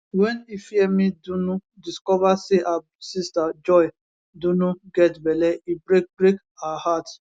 wen ifiemi dunu discover say her sister joy dunu get belle e break break her heart